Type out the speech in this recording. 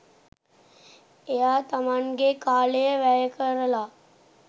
එයා තමන්ගෙ කාලය වැය කරලා